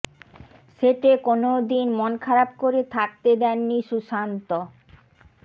সেটে কোনও দিন মন খারাপ করে থাকতে দেননি সুশান্ত